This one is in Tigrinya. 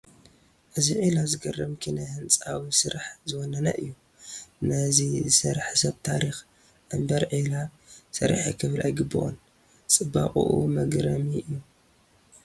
ኢዚ ዒላ ዘግርም ኪነ ህንፃዊ ስራሕ ዝወነነ እዩ፡፡ ነዚ ዝሰርሐ ሰብ ታሪክ እምበር ዒላ ሰሪሐ ክብል ኣይግብኦን፡፡ ፅባቐኡ መግረሚ እዩ፡፡